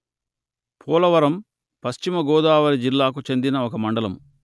పోలవరం పశ్చిమ గోదావరి జిల్లాకు చెందిన ఒక మండలము